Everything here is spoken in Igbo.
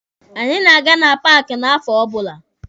Anyị na-aga na paaki n'afọ ọbụla.